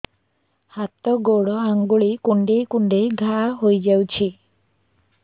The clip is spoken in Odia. ହାତ ଗୋଡ଼ ଆଂଗୁଳି କୁଂଡେଇ କୁଂଡେଇ ଘାଆ ହୋଇଯାଉଛି